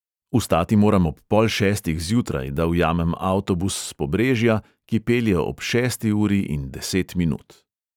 Vstati moram ob pol šestih zjutraj, da ujamem avtobus s pobrežja, ki pelje ob šesti uri in deset minut.